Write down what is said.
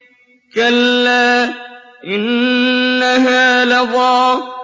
كَلَّا ۖ إِنَّهَا لَظَىٰ